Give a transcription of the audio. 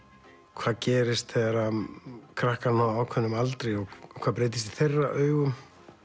hvað gerist þegar krakkar ná ákveðnum aldri og hvað breytist í þeirra augum